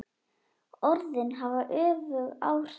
Orðin hafa öfug áhrif.